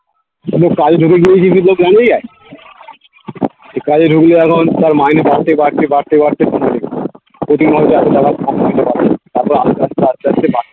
এ কাজে ঢুকলে এখন তার মাইনে বাড়তে বাড়তে বাড়তে